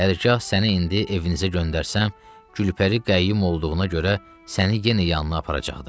Hərgah səni indi evinizə göndərsəm, Gülpəri Qəyyim olduğuna görə səni yenə yanına aparacaqdı.